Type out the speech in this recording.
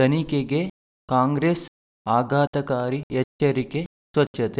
ತನಿಖೆಗೆ ಕಾಂಗ್ರೆಸ್ ಆಘಾತಕಾರಿ ಎಚ್ಚರಿಕೆ ಸ್ವಚ್ಛತೆ